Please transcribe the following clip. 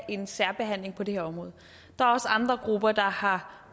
en særbehandling på det her område der er også andre grupper der har